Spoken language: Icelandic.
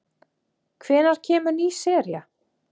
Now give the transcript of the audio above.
Hvenær kemur ný sería?